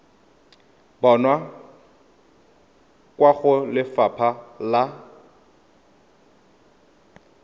bonwa kwa go lefapha la